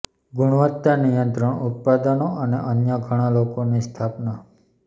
ગુણવત્તા નિયંત્રણ ઉત્પાદનો અને અન્ય ઘણા લોકો ની સ્થાપના